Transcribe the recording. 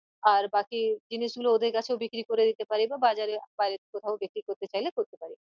আর বাকি জিনিশ গুলো ওদের কাছেও বিক্রী করে দিতে পারি বা বাজারে বাইরে কোথাও বিক্রী করতে চাইলে করতে পারি